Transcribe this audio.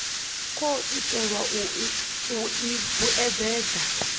khou itelwa u i vhuedzedza